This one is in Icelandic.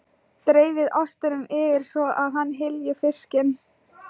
Dreifið ostinum yfir svo að hann hylji fiskinn.